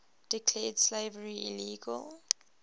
declared slavery illegal